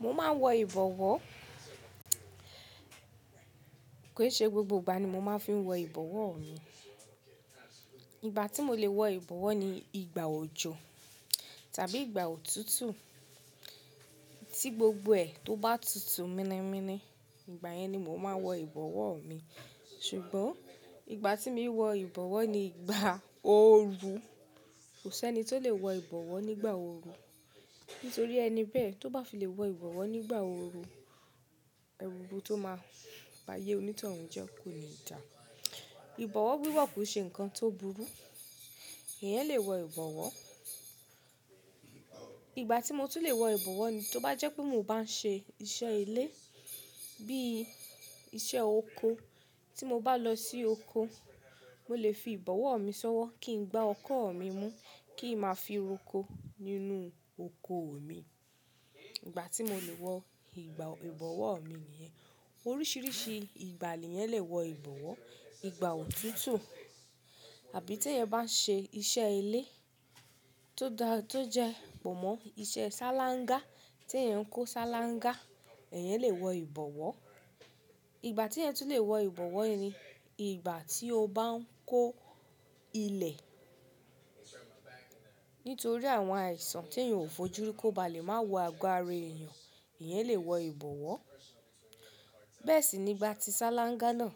Mo máa ń wọ ìbọ̀wọ́. Kò ì ṣe gbogbo ìgbà ni mo máa ń fi wọ ìbọ̀wọ́ mi. Ìgbà tí mo lè wọ ìbọ̀wọ́ ni ìgbà òjò tàbí ìgbà òtútù. Tí gbogbo ẹ̀ tó bá tutù mini mini, ìgbà yẹn ni mo máa ń wọ ìbọ̀wọ́ mi. Ṣùgbọ́n ìgbà tí mi wọ ìbọ̀wọ́ ni ìgbà ooru. Kò sẹ́ni tó lè wọ ìbọ̀wọ́ nígbà ooru, nítorí ẹni bẹ́ẹ̀ tó bá fi lè wọ ìbọ̀wọ́ nígbà ooru, ẹrúbo tó máa bà yé onítọ̀rùn jẹ́ kò ní dà. Ìbọ̀wọ́ wíwọ̀ kò ṣe nǹkan tó burú, èèyàn lè wọ ìbọ̀wọ́. Ìgbà tí mo tún lè wọ ìbọ̀wọ́ ni tó bá jẹ́ pé mo bá ń ṣe iṣẹ́ ilé bí i iṣẹ́ oko. Tí mo bá lọ sí oko, mo lè fi ìbọ̀wọ́ mi sọ́wọ́ kí n gba ọkọ́ mi mú, kí n máa fi roko nínú oko mi. Ìgbà tí mo lè wọ ìbọ̀wọ́ mi nìyẹn. Oríṣiríṣi ìgbà ni ẹ̀yàn lè wọ ìbọ̀wọ́. Ìgbà òtútù àbí tí ẹ̀yàn bá ń ṣe iṣẹ́ ilé tó jẹ́ pómọ́, iṣẹ́ ṣáláńgá. Tí ẹ̀yàn ń kó ṣáláńgá, ẹ̀yàn lè wọ ìbọ̀wọ́. Ìgbà tí ẹ̀yàn tún lè wọ ìbọ̀wọ́ ni ìgbà tí ó bá ń kó ilẹ̀. Nítorí àwọn àìsàn tí ẹ̀yàn ò fojú rí kó bá lè máa wọ àgọ́ ara èèyàn, ẹ̀yàn lè wọ ìbọ̀wọ́. Bẹ́ẹ̀ sì nígbà tí ṣáláńgá náà,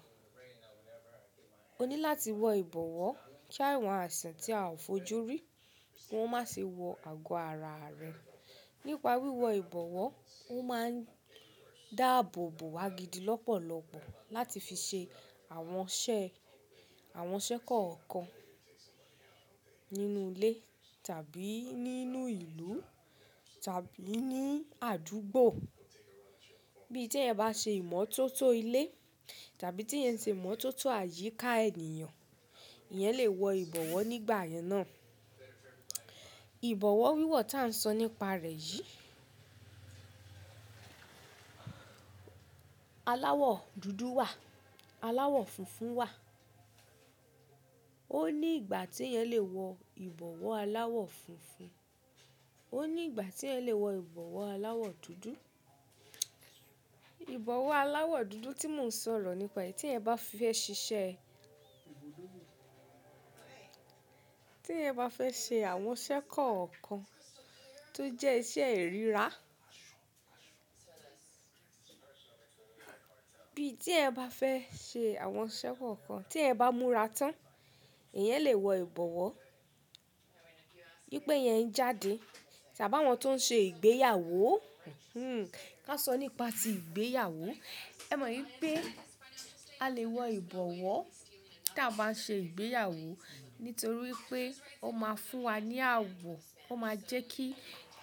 o ní láti wọ ìbọ̀wọ́ kí àwọn àìsàn tí a ò fojú rí, kó má ṣe wọ àgọ́ ara rẹ̀. Nípa wíwọ ìbọ̀wọ́, ó máa ń dáàbòbò wá gidi lọ́pọ̀lọ́pọ̀ láti fi ṣe àwọn iṣẹ́ kọ̀ọ̀kan nínú ilé tàbí nínú ìlú tàbí ní àdúgbò. Bí i tí ẹ̀yàn bá ṣe ìmọ́tótó ilé tàbí tí ẹ̀yàn ṣe ìmọ́tótó àyíká ènìyàn, ẹ̀yàn lè wọ ìbọ̀wọ́ nígbà yẹn náà. Ìbọ̀wọ́ wíwọ̀ tí à ń sọ nípa rẹ̀ yìí. Aláwọ̀ dúdú wà, aláwọ̀ funfun wà. Ó ní ìgbà tí ẹ̀yàn lè wọ ìbọ̀wọ́ aláwọ̀ funfun, ó ní ìgbà tí ẹ̀yàn lè wọ ìbọ̀wọ́ aláwọ̀ dúdú. Ìbọ̀wọ́ aláwọ̀ dúdú tí mò ń sọ̀rọ̀ nípa èyí tí ẹ̀èyan bá fẹ́ ṣe iṣẹ́, tí ẹ̀èyan bá fẹ́ ṣe àwọn iṣẹ́ kọ̀ọ̀kan tó jẹ́ iṣẹ́ ìríra. Bíi tí ẹ̀yan bá fẹ́ ṣe àwọn iṣẹ́ kọ̀ọ̀kan tí ẹ̀yàn bá múra tán, ẹ̀yàn lè wọ ìbọ̀wọ́. Bípé ẹ̀yàn ń jáde tàbí àwọn tó ń ṣe ìgbéyàwó, hmm kà sọ nípa tí ìgbéyàwó. Ẹ mọ̀ wípé a lè wọ ìbọ̀wọ́ tí a bá ń ṣe ìgbéyàwó nítorí pé ó máa fún wa ní àwọ̀, ó máa jẹ́kí,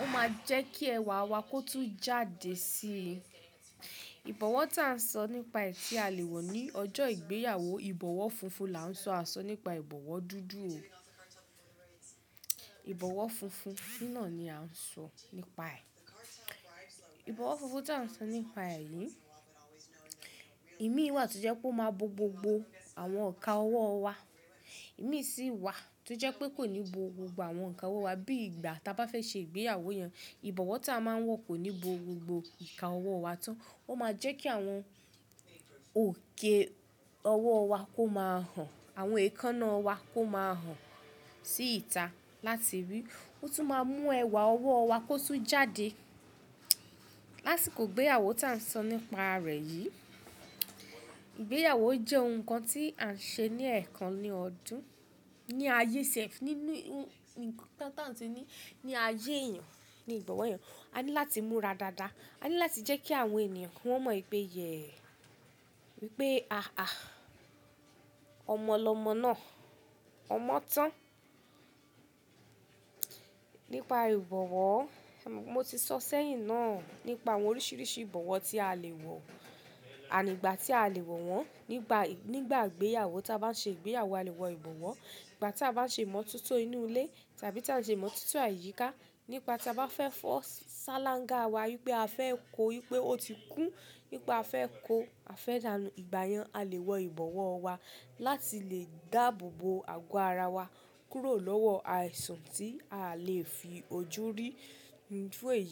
ó máa jẹ́kí ẹwà wa kó tún jáde sí i. Ìbọ̀wọ́ tí à ń sọ nípa èyí tí a lè wọ̀ ní ọjọ́ ìgbéyàwó, ìbọ̀wọ́ funfun là ń sọ, à sọ nípa ìbọ̀wọ́ dúdú o. Ìbọ̀wọ́ funfun sínà ni a ń sọ nípa ẹ̀. Ìbọ̀wọ́ funfun tí à ń sọ nípa èyí, ìmí wà tó jẹ́ pé ó máa bo gbogbo àwọn íkan ọwọ́ wa. Ìmí sì wà tó jẹ́ pé kò ní bo gbogbo àwọn íkan ọwọ́ wa bí ìgbà tí a bá fẹ́ ṣe ìgbéyàwó yẹn. Ìbọ̀wọ́ tí a máa ń wọ kò ní bo gbogbo íkan ọwọ́ wa tán. Ó máa jẹ́kí àwọn òkè ọwọ́ wa kó máa hàn, àwọn èékánná wa kó máa hàn sí ìta láti rí. Ó tún máa mú ẹwà ọwọ́ wa kó tún jáde. Lási kó ìgbéyàwó tí à ń sọ nípa rẹ̀ yìí, ìgbéyàwó jẹ́ ohun kan tí à ń ṣe ní ẹ̀ẹ̀kan ní ọdún, ní ayé sẹ́f-- nínú ohun kan tí à ń ṣe ní ayé èèyàn, ní ìgbọ̀nwọ́ èèyàn. A ní láti múra dáadáa. A ní láti jẹ́kí àwọn ènìyàn wọn mọ̀ wípé ìyè, wípé àà, ọmọ lọmọ náà, ọmọ tán. Nípa ìbọ̀wọ̀, mo ti sọ̀ ọ́ sẹ́yìn náà nípa àwọn oríṣiríṣi ìbọ̀wọ̀ tí a lè wọ̀ àní ìgbà tí a lè wọ̀ wọ́n. Nígbà, nígbà ìgbéyàwó tí a bá ń ṣe ìgbéyàwó a lè wọ ìbọ̀wọ́. Ìgbà tí a bá ń ṣe ìmọ́tótó inú ilé tàbí tí a ń ṣe ìmọ́tótó àyíká, nípa tí a bá fẹ́ fọ ṣáláńgá wa wípé a fẹ́ kó, wípé ó ti kún, nípa a fẹ́ kó, a fẹ́ dànù. Ìgbà yẹn a lè wọ ìbọ̀wọ́ wa láti lè dáàbòbò àgọ́ ara wa kúrò lọ́wọ́ àìsàn tí a lè fi ojú rí fún èèyí.